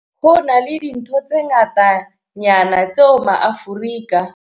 Ho na le dintho tse ngatanyana tseo maAforika.